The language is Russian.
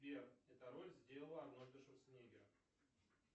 сбер эта роль сделала арнольда шварценеггера